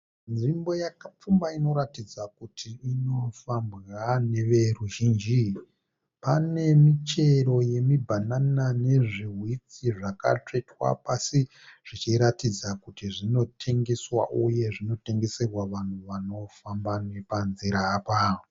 Nzvimbo yakapfumba inoratidza kuti inofambwa neveruzhinji. Pane michero yemibhanana nezviwhitsi zvakatsvetwa pasi zvichiratidza kuti zvinotengeswa uye zvinotengeserwa vanhu vanofamba nepanzira apa.